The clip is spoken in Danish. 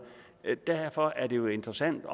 derfor er det jo interessant